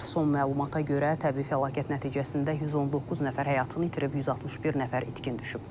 Son məlumata görə təbii fəlakət nəticəsində 119 nəfər həyatını itirib, 161 nəfər itkin düşüb.